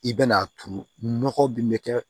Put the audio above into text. I bɛ n'a turu nɔgɔ min bɛ kɛ